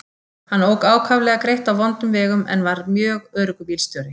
Hann ók ákaflega greitt á vondum vegum en var mjög öruggur bílstjóri.